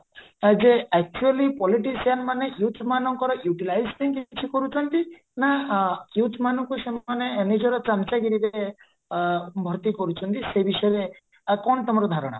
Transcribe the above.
ଆ ଯେ actually politician youth ମାନଙ୍କର utilize ପାଇଁ କିଛି କରୁଛନ୍ତି ନାଁ youth ମାନଙ୍କୁ ସେମାନେ ନିଜର ଚାମଚାଗିରିରେ ଆ ଭର୍ତି କରୁଚନ୍ତି ସେ ବିଷୟରେ ଆଉ କଣ ତମର ଧାରଣା